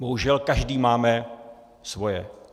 Bohužel každý máme svoje.